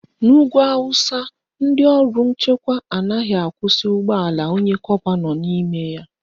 N'ugwu Awụsa, ndị ọrụ nchekwa anaghị akwụsị ụgbọala onye kọpa nọ n'ime ya